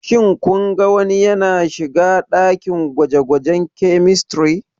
Shin kun ga wani yana shiga dakin gwaje-gwajen Chemistry?